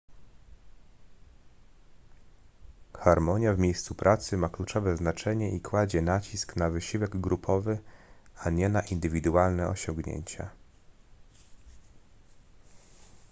harmonia w miejscu pracy ma kluczowe znaczenie i kładzie nacisk na wysiłek grupowy a nie na indywidualne osiągnięcia